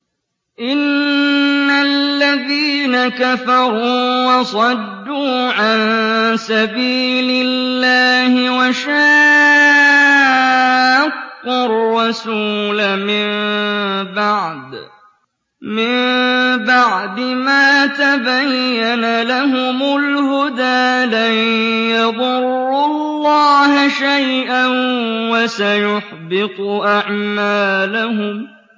إِنَّ الَّذِينَ كَفَرُوا وَصَدُّوا عَن سَبِيلِ اللَّهِ وَشَاقُّوا الرَّسُولَ مِن بَعْدِ مَا تَبَيَّنَ لَهُمُ الْهُدَىٰ لَن يَضُرُّوا اللَّهَ شَيْئًا وَسَيُحْبِطُ أَعْمَالَهُمْ